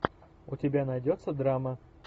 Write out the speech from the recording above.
у тебя найдется драма